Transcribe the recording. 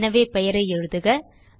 எனவே பெயரை எழுதுக